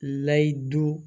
Lahadu